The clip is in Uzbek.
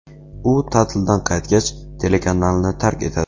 U ta’tildan qaytgach, telekanalni tark etadi.